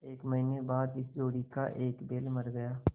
एक महीने के बाद इस जोड़ी का एक बैल मर गया